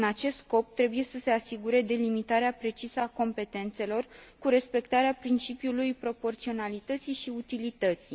În acest scop trebuie să se asigure delimitarea precisă a competențelor cu respectarea principiul proporționalității și utilității.